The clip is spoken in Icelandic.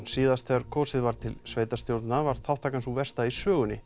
síðast þegar kosið var til sveitarstjórna var þáttakan sú versta í sögunni